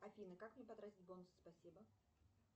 афина как мне потратить бонусы спасибо